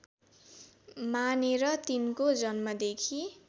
मानेर तिनको जन्मदेखि